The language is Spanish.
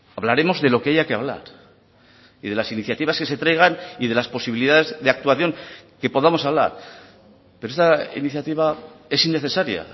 hablaremos de lo que haya que hablar y de las iniciativas que se traigan y de las posibilidades de actuación que podamos hablar pero esta iniciativa es innecesaria